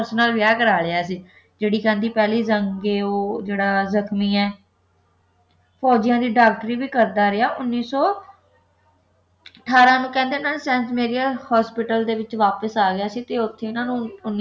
nurse ਨਾਲ ਵਿਆਹ ਕਰ ਲਿਆ ਸੀ ਜਿਹੜੀ ਕਹਿੰਦੀ ਪਹਿਲੇ ਰੰਗ ਇਹ ਉਹ ਜਿਹੜਾ ਜਖਮੀ ਹੈ ਫੌਜ਼ੀਆਂ ਦੀ ਡਾਕਟਰੀ ਵੀ ਕਰਦਾ ਰਿਹਾ ਉੱਨੀ ਸੌ ਅਠਾਰਾਂ ਨੂੰ ਕਹਿੰਦੇ ਇੰਨਾ ਨੇ ਸੈਂਟ ਮੇਰੀ hospital ਦੇ ਵਿਚ ਵਾਪਿਸ ਆ ਗਏ ਸੀ ਤੇ ਉੱਥੇ ਇਨ੍ਹਾਂ ਨੂੰ